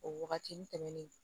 O waagatini tɛmɛnnen